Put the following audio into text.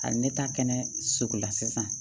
A ne ta kɛnɛ sugu la sisan